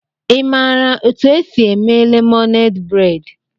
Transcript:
Ị maara otú e si eme lemonade braid?